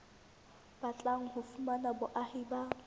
batlang ho fumana boahi ba